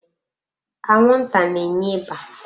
Anwụnta na-enye ịba.